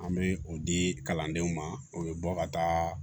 An bɛ o di kalandenw ma o bɛ bɔ ka taa